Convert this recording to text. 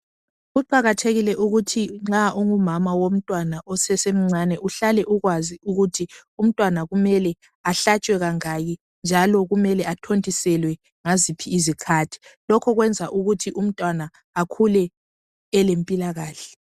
Kuqakathekile ukuthi nxa ungumama womntwana osesemncane uhlale ukwazi ukuthi umntwana kumele ahlatshwe kangaki njalo kumele athontiselwe ngaziphi izikhathi lokho kwenza ukuthi umntwana akhule elempilakahle.